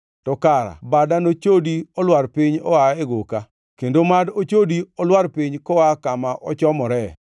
to kara bada ochodi olwar piny oa e goka, kendo mad ochodi olwar piny koa kama ochomoree.